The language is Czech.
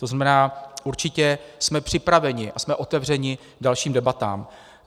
To znamená, určitě jsme připraveni a jsme otevřeni dalším debatám.